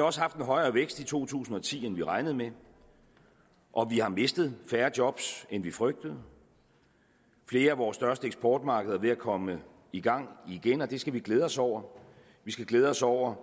også haft en højere vækst i to tusind og ti end vi regnede med og vi har mistet færre job end vi frygtede flere af vores største eksportmarkeder er ved at komme i gang igen og det skal vi glæde os over vi skal glæde os over